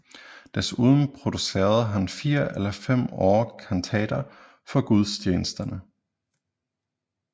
Desuden producerede han fire eller fem år kantater for gudstjenesterne